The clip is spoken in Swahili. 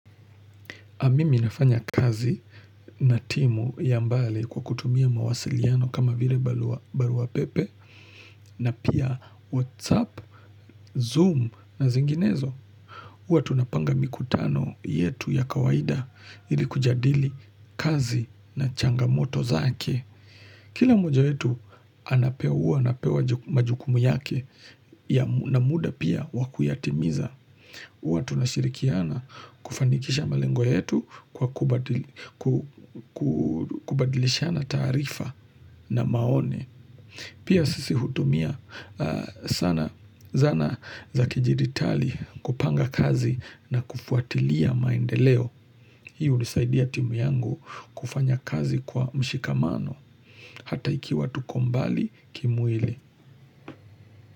Amimi nafanya kazi na timu ya mbali kwa kutumia mawasiliano kama vile baluwa pepe na pia Whatsapp, Zoom na zinginezo. Uwa tunapanga mikutano yetu ya kawaida ili kujadili kazi na changamoto zake. Kila moja yetu anapewa uwa napewa majukumu yake na muda pia wakuyatimiza. Watu na shirikiana kufanikisha malengo yetu kubadilishana taarifa na maone. Pia sisi hutumia sana zana za kijiritali kupanga kazi na kufuatilia maendeleo. Hiu nisaidia timu yangu kufanya kazi kwa mshikamano hata iki watu kombali kimuili.